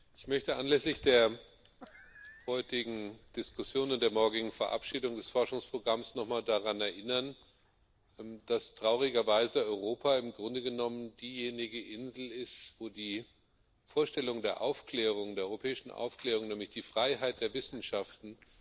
Ich möchte anlässlich der heutigen Diskussion und der morgigen Verabschiedung des Forschungsprogramms nochmal daran erinnern, dass traurigerweise Europa im Grunde genommen diejenige Insel ist, wahrscheinlich der einzige Ort ist, wo wir hinsichtlich der Vorstellung der europäischen Aufklärung, nämlich der Freiheit der Wissenschaften,